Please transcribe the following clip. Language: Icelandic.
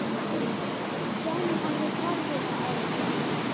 Stjáni horfði forviða á hann.